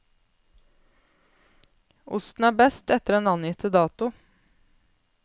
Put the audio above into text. Osten er best etter den angitte dato!